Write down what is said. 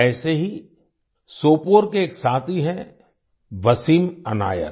ऐसे ही सोपोर के एक साथी हैं वसीम अनायत